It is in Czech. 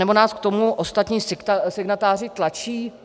Anebo nás k tomu ostatní signatáři tlačí?